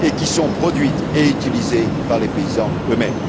et qui sont produites et utilisées par les paysans eux mêmes.